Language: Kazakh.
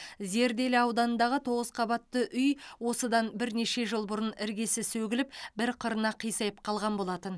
зерделі ауданындағы тоғыз қабатты үй осыдан бірнеше жыл бұрын іргесі сөгіліп бір қырына қисайып қалған болатын